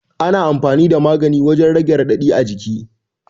Ana amfani da magani wajan rage raɗaɗi a jiki